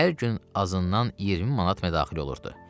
Hər gün azından 20 manat mədaxil olurdu.